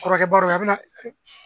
Kɔrɔkɛba dɔ bɛ yen a bɛna